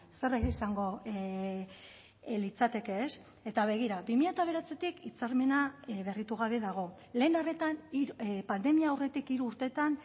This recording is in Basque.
zer izango litzateke ez eta begira bi mila bederatzitik hitzarmena berritu gabe dago lehen arretan pandemia aurretik hiru urteetan